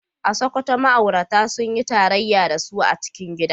A Sakkwato ma’aurata sun yi tarayya da su a cikin gida.